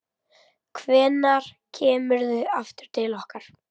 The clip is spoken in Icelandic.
Hvenær kemurðu aftur til okkar?